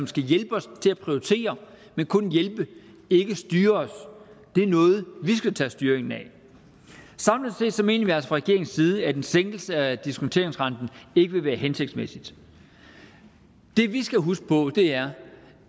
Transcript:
skal hjælpe os til at prioritere men kun hjælpe ikke styre os det er noget vi skal tage styringen med samlet set mener regeringens side at en sænkelse af diskonteringsrenten ikke vil være hensigtsmæssig det vi skal huske på er